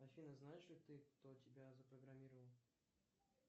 афина знаешь ли ты кто тебя запрограммировал